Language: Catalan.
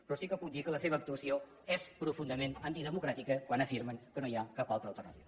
però sí que puc dir que la seva actuació és profundament antidemocràtica quan afirmen que no hi ha cap altra alternativa